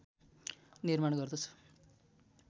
निर्माण गर्दछ